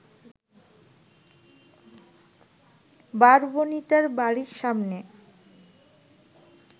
বারবণিতার বাড়ির সামনে